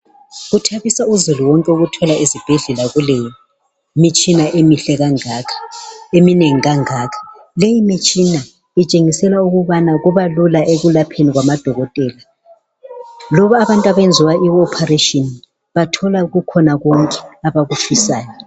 Kuthabisa uzulu wonke ezibhedlela ukuthola kulemitshina emihle kangaka eminengi kangaka , leyi mitshina itshengisela ukuba lula ekulapheni kwamadokotela loba abantu abenziwa I operation bakuthola kukhona konke abakufisayo